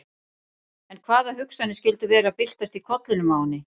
En hvaða hugsanir skyldu vera að byltast í kollinum á henni?